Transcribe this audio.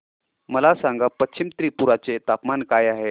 मला सांगा पश्चिम त्रिपुरा चे तापमान काय आहे